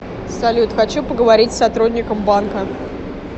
салют хочу поговорить с сотрудником банка